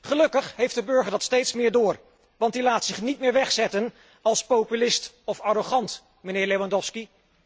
Gelukkig heeft de burger dat steeds meer door, want die laat zich niet meer wegzetten als populist of arrogant, meneer Lewandowski.